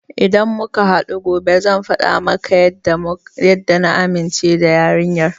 Idan muka haɗu gobe zan faɗa maka yadda na amince da yarinyar.